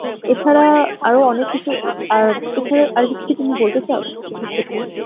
এছাড়া আরো অনেক কিছু আর এছাড়াও আর কিছু কি তুমি বলতে পারো, কৃষির ক্ষেত্রে?